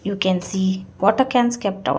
we can see water cans kept out.